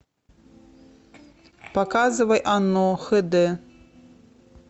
показывай оно х д